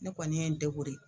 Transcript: Ne kɔni ye n